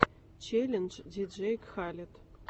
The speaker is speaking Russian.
челлендж диджей кхалед